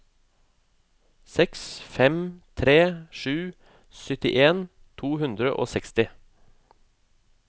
seks fem tre sju syttien to hundre og seksti